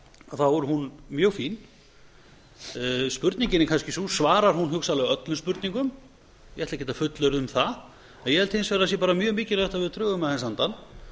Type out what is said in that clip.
þá er hún mjög fín spurningin er kannski sú svarar hún hugsanlega öllum spurningum ég ætla ekki að fullyrða um það en ég held hins vegar að það sé mjög mikilvægt að við drögum aðeins andann